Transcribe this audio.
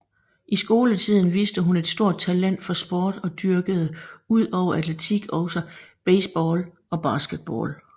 I skoletiden viste hun et stort talent for sport og dyrkede ud over atletik også baseball og basketball